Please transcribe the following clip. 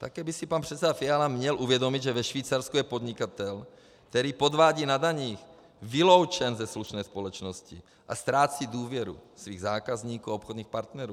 Také by si pan předseda Fiala měl uvědomit, že ve Švýcarsku je podnikatel, který podvádí na daních, vyloučen ze slušné společnosti a ztrácí důvěru svých zákazníků a obchodních partnerů.